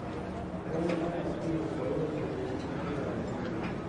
Karani abatiĩ gũkorwo na ũtheri akĩgaya mawĩra